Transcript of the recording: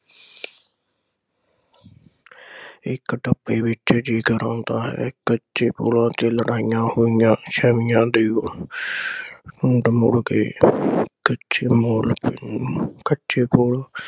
ਇਕ ਟੱਪੇ ਵਿਚ ਜਿਕਰ ਆਉਦਾ ਹੈ ਕੱਚੇ ਪੁੱਲਾਂ ਤੇ ਲੜਾਈਆਂ ਹੋਈਆਂ ਪਿੰਡ ਮੁੜ ਕੇ ਪਿੱਛੇ ਕੱਚੇ ਪੁੱਲ